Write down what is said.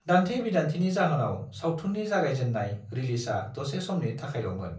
दान्थे-बिदान्थेनि जाहोनाव सावथुननि जागायजेन्नाय रिलिजआ दसे समनि थाखायल'मोन।